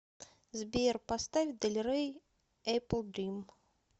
сбер поставь дель рей эпплдрим